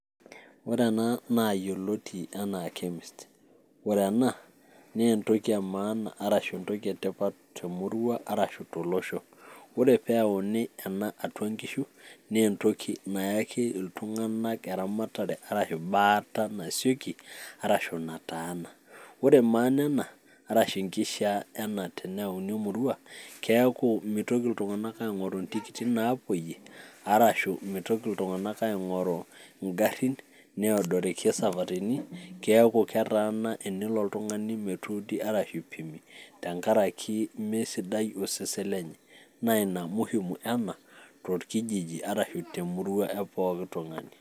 ore ena naayioloti anaa chemist ore ena naa entoki emaana arashu entoki etipat tolosho, ore pee eyauni ena atua nkishu naa entoki, nayaki iltunganak eramatere, arashu baata nasioki, arashu nataana, ore maana ena arashu enkishaa ena teneyauni emurua, keeku mitoki iltunganak aing'oru intikiti naapuoiyie arashu mtoki iltung'anak aing'oru igarin, needoriki esafari keeku ketaana tenelo oltung'ani metuudi arashu aipimi, tenkaraki meisidai osesen lenye. naa ina muhimu ena torkijiji arashu temurua e pooki tung'ani.